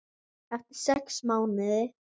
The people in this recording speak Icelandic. Eftir sex mánuði.